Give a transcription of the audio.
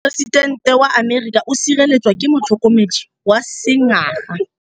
Poresitêntê wa Amerika o sireletswa ke motlhokomedi wa sengaga.